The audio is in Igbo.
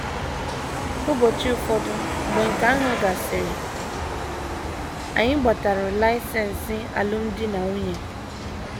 Ụbọchị ụfọdụ mgbe nke ahụ gasịrị, anyị gbatara laịsensị alụmdi na nwunye.